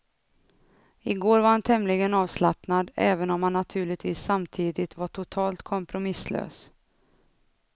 I går var han tämligen avslappnad, även om han naturligtvis samtidigt var totalt kompromisslös.